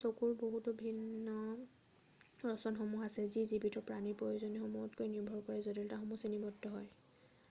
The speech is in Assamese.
চকুৰ বহুতো ভিন্ন ৰচনসমূহ আছে যি জীৱিত প্ৰাণীৰ প্ৰয়োজনীয়তাসমূহত নিৰ্ভৰ কৰি জটিলতাত শ্ৰেণীবদ্ধ হয়৷